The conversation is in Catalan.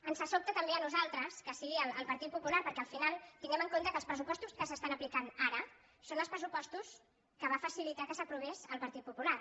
ens sobta també a nosaltres que sigui el par·tit popular perquè al final tinguem en compte que els pressupostos que s’apliquen ara són els pressupostos que va facilitar que s’aprovessin el partit popular